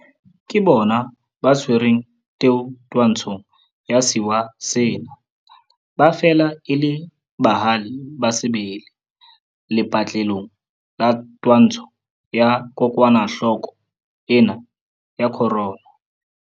Ke bona ba tshwereng teu twantshong ya sewa sena. Ba fela e le bahale ba sebele lepatlelong la twantsho ya kokwanahloko ena ya corona.